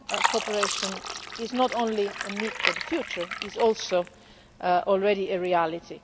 cooperation is not only a need for the future it is also already a reality.